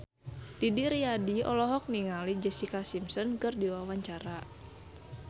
Didi Riyadi olohok ningali Jessica Simpson keur diwawancara